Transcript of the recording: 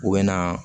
U bɛ na